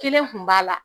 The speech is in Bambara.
Kelen kun b'a la